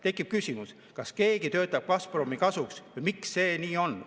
Tekib küsimus, kas keegi töötab Gazpromi kasuks või miks see nii on.